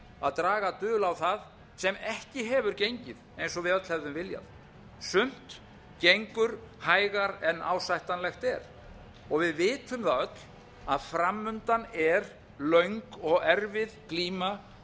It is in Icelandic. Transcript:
að draga dul á það sem ekki hefur gengið eins og við öll hefðum viljað sumt gengur hægar en ásættanlegt er og við vitum það er að framundan er löng og erfið glíma